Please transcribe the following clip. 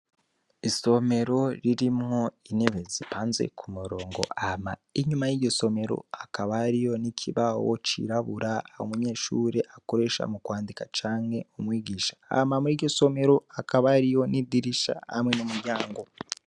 Isomero ririmwo intebe zipanze ku murongo, hama inyuma y'iryo somero hakaba hariyo n'ikibaho cirabura umunyeshure akoresha mu kwandika canke umwigisha. Hama muri iryo somero hakaba hariyo idirisha hamwe n'umuryango.